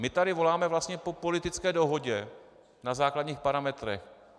My tady voláme vlastně po politické dohodě na základních parametrech.